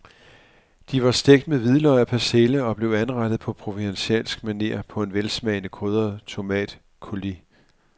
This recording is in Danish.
De var stegt med hvidløg og persille og blev anrettet på provencalsk maner på en velsmagende krydret tomatcoulis.